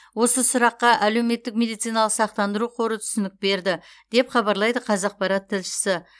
осы сұраққа әлеуметтік медициналық сақтандыру қоры түсінік берді деп хабарлайды қазақпарат тілшісі